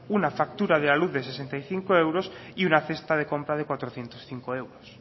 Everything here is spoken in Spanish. una factura de la luz de sesenta y cinco euros y una cesta de compra de cuatrocientos cinco euros